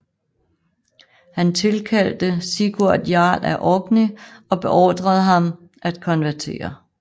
Han tilkaldte Sigurd Jarl af Orkney og beordrede ham at konvertere